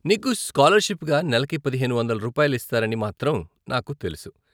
నీకు స్కాలర్షిప్గా నెలకి పదిహేను వందలు రూపాయలు ఇస్తారని మాత్రం నాకు తెలుసు.